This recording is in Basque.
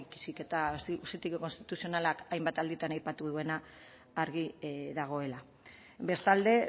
baizik eta auzitegi konstituzionalak hainbat alditan aipatu duena argi dagoela bestalde